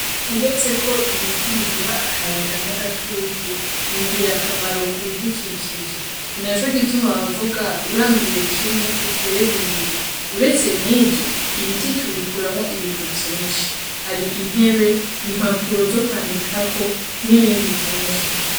Uretseko Ibiti biduha akayaga n'agatutu n'ingirakamaro kubidukikije ninaco gutuma bavuga uranduye kimwe utere bibiri uretse nivyo Ibiti tubikuramwo Ibintu vyinshi hari intebe, impapuro zo kwandikako n'ibindi vyinshi.